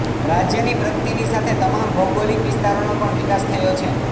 રાજ્યની પ્રગતિની સાથે તમામ ભૌગોલિક વિસ્તારોનો પણ વિકાસ થયો છે